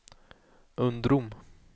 Undrom